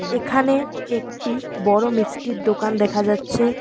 এখানে একটি বড় মিষ্টির দোকান দেখা যাচ্ছে।